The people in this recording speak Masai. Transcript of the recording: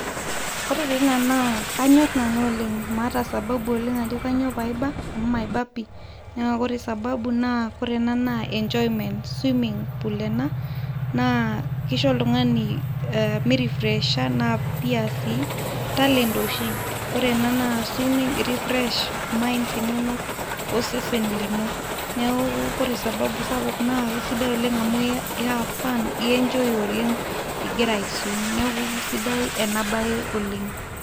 Ore ta ina na kanyorr nanu oleng, maata sababu oleng ajo kanyio paiba, amu maiba pii, na kore sababu nak ore ena na enjoyment ,swimming pool ena na kisho oltungani minifresha, na pia si na talent oshi, kore ena na swimming irefresh mind inono, osesen lino, niaku ore sababu sapuk naa kisidai oleng amu ihave fun enjoy oleng ingira aiswim, niaku kisidai ena bae oleng,